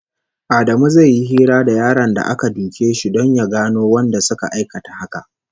Adamu zai yi hira da yaron da aka duke shi don ya gano wanda suka aikata haka